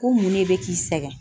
Ko mun ne bɛ k'i sɛgɛn?